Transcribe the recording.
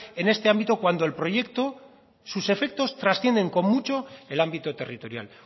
en este ámbito cuando el proyecto sus efectos trascienden con mucho el ámbito territorial